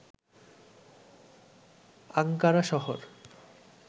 Ankara শহর